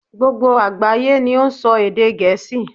Gbogbo àgbáyé ni ó n sọ èdè Gèésì